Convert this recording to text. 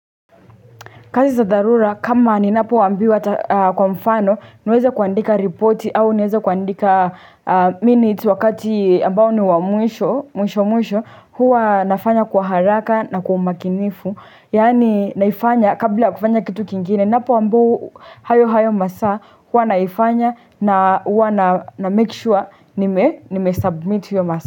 Kazi za dharura, kama ni napo ambiwa kwa mfano, niweze kuandika reporti au niweze kuandika minutes wakati ambao ni wa mwisho, mwisho mwisho, huwa nafanya kwa haraka na kwa umakinifu. Yani naifanya, kabla kufanya kitu kingine, napo ambiwa hayo hayo masaa, huwa naifanya na huwa na make sure nime submit hiyo masaa.